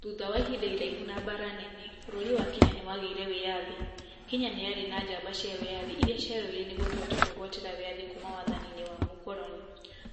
Thutha wa ihinda iraihu na mbara nene, bũrũri wa Kenya nĩ wagĩire wĩyathi. Kenya nĩyarĩ na njamba cia wĩyathi, ĩra cĩarũwire nĩguo tũhote kũĩgwatĩra wĩyathi kuma wathani-inĩ wa mũkoroni.